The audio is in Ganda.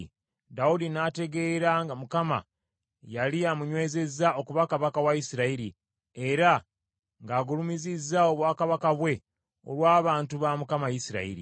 Dawudi n’ategeera nga Mukama yali amunywezezza okuba kabaka wa Isirayiri, era ng’agulumizizza obwakabaka bwe olw’abantu ba Mukama Isirayiri.